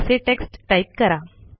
असे text type करा